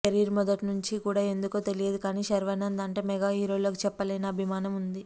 career మొదట్నుంచీ కూడా ఎందుకో తెలియదు కానీ శర్వానంద్ అంటే మెగా హీరోలకు చెప్పలేని అభిమానం ఉంది